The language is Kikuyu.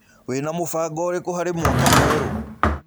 Wĩna mũbango ũrĩkũ harĩ mwaka mwerũ?